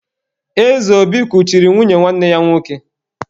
Ezeobi kuchiri nwunye nwanne ya nwoke.